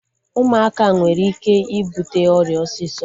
Ụmụaka nwere ike ịbute ọrịa osisọ